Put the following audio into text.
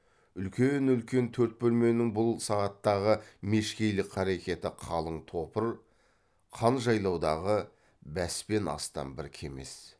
үлкен үлкен төрт бөлменің бұл сағаттағы мешкейлік қарекеті қалын топыр қан жайлаудағы бәс пен астан бір кемес